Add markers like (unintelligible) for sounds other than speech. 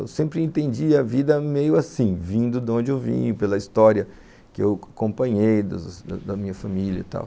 Eu sempre entendi a vida meio assim, vindo de onde eu vim, pela história que eu acompanhei da da da (unintelligible) minha família e tal.